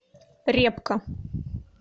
репка